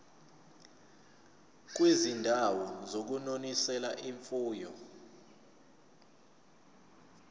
kwizindawo zokunonisela imfuyo